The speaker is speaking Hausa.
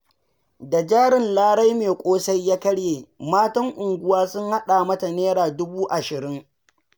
Da jarin Larai mai ƙosai ya karye, matan unguwa sun haɗa mata Naira dubu 20.